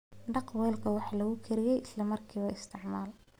Dhaq weelka wax lagu kariyo isla markaaba isticmaal.